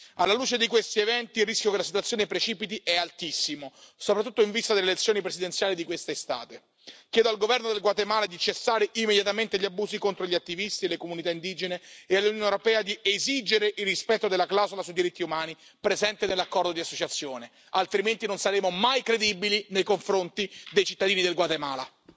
Alla luce di questi eventi, il rischio che la situazione precipiti è altissimo, soprattutto in vista delle elezioni presidenziali di quest'estate. Chiedo al governo del Guatemala di cessare immediatamente gli abusi contro gli attivisti e le comunità indigene e all'Unione europea di esigere il rispetto della clausola sui diritti umani presente nell'Accordo di associazione, altrimenti non saremo mai credibili nei confronti dei cittadini del Guatemala.